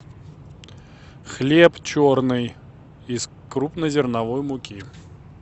хлеб черный из крупнозерновой муки